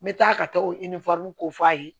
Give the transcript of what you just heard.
N bɛ taa ka taa o ko f'a ye